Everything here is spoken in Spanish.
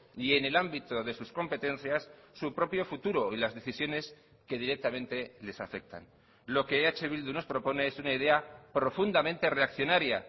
y en el ámbito de sus competencias su propio futuro y las decisiones que directamente les afectan lo que eh bildu nos propone es una idea profundamente reaccionaria